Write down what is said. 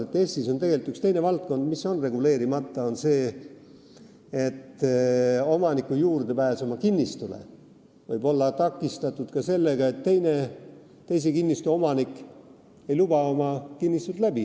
Eestis on tegelikult üks teine valdkond, mis on reguleerimata, nimelt see, et omaniku juurdepääs oma kinnistule võib olla takistatud ka sellega, et teise kinnistu omanik ei luba oma kinnistult läbi.